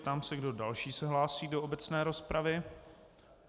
Ptám se, kdo další se hlásí do obecné rozpravy.